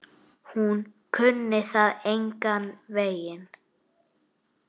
Hún kunni það engan veginn.